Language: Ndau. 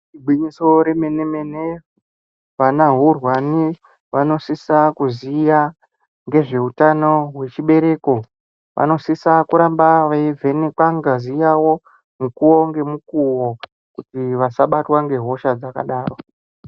Igwinyiso remene mene, vana hurwani vanosisa kuziya ngezveutano hwechibereko, vanosisa kuramba veyivhenekwe ngazi yavo mukuwo ngemukuwo kuti vasabatwa ngehosha dzakadaro.